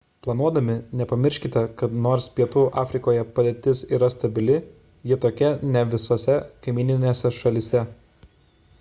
planuodami nepamirškite kad nors pietų afrikoje padėtis yra stabili ji tokia ne visose kaimyninėse šalyse